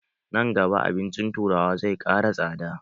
Nan gaba, abincin turawa zai ƙara tsada.